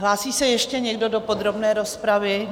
Hlásí se ještě někdo do podrobné rozpravy?